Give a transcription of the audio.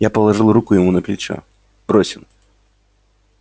я положил руку ему на плечо бросил